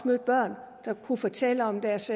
mødt børn der kunne fortælle om deres